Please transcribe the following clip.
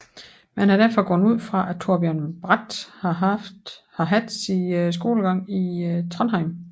Man har derfor gået ud fra at Torbjørn Bratt har haft sin skolegang i Trondheim